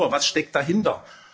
Nur was steckt dahinter?